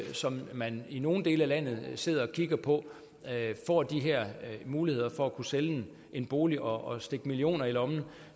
som man i nogle dele af landet sidder og kigger på får de her muligheder for at sælge en bolig og stikke millioner i lommen